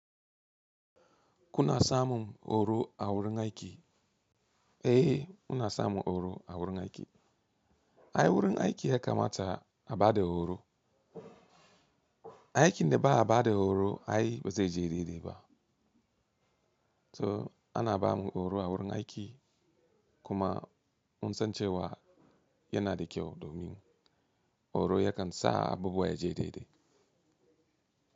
Kuna samun horo a wurin aiki? Eh, muna samun horo a wurin aiki. Ai wurin aiki haka mata a ba da horo. Aikin da ba a ba da horo ai ba zai je daidai ba. So ana ba mu horo a wurin aiki kuma mun san cewa yana da kyau domin horo yakan sa abubuwa ya je daidai.